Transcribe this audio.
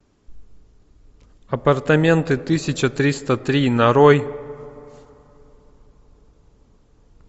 апартаменты тысяча триста три нарой